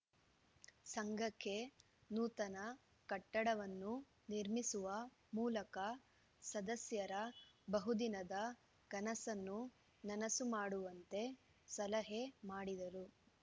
ಸಂಘಕ್ಕೆ ನೂತನ ಕಟ್ಟಡವನ್ನು ನಿರ್ಮಿಸುವ ಮೂಲಕ ಸದಸ್ಯರ ಬಹುದಿನದ ಕನಸನ್ನು ನನಸು ಮಾಡುವಂತೆ ಸಲಹೆ ಮಾಡಿದರು